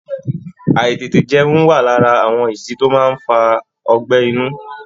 Àítètèjẹun wà lára àwọn ìdí tó máa ń fa ọgbẹ́ inú